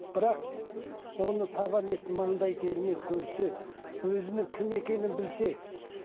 бірақ оны табан ет маңдай терімен көрсе өзінің кім екенін білсе